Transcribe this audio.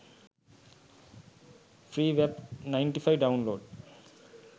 free wap 95 downlord